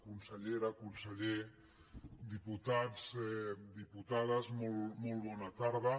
consellera conseller diputats diputades molt bona tarda